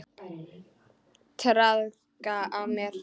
Traðka á mér!